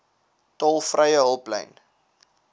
tolvrye hulplyn